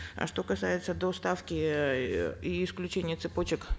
а что касается до ставки эээ и исключения цепочек